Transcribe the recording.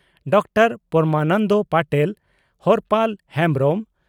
doctor Paramananda Patel Harpal Hembrom